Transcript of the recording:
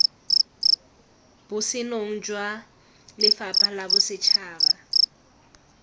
botsenong jwa lefapha la bosetšhaba